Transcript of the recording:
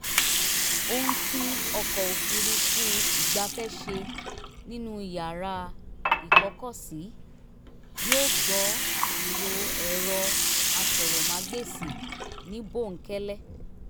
ó ń tún ọkọ̀ òfuurufú ìgbafẹ́ ṣe nínú yàrá ìkọ́kọ̀sí yóó gbọ́ ìró èrọ aṣọ̀ròmágbèsì ní bóńkẹ́lẹ́